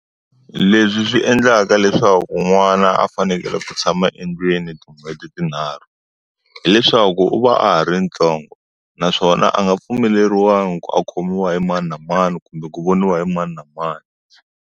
Leswi swi endlaka leswaku n'wana a fanele ku tshama endlwini tin'hweti tinharhu, hileswaku u va a ha ri ntsongo. Naswona a nga pfumeleriwangi ku khomiwa hi mani na mani kumbe ku voniwa hi mani na mani.